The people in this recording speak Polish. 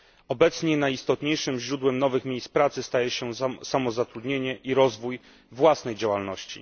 Obecnie najistotniejszym źródłem nowych miejsc pracy staje się samozatrudnienie i rozwój własnej działalności.